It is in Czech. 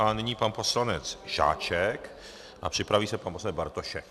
A nyní pan poslanec Žáček a připraví se pan poslanec Bartošek.